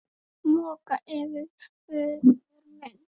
Moka yfir föður minn.